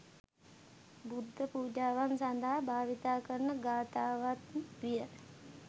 බුද්ධ පූජාවන් සඳහා භාවිතා කරන ගාථාවත්ම විය.